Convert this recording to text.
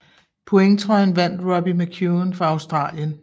Pointtrøjen vandt Robbie McEwen fra Australien